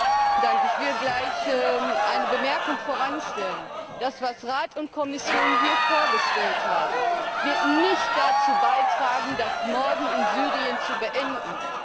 Herr Präsident! Ich will gleich eine Bemerkung voranstellen. Das, was Rat und Kommission hier vorgestellt haben, wird nicht dazu beitragen, das Morden in Syrien zu beenden.